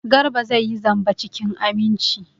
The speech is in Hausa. Garba zai yi zamba cikin aminci.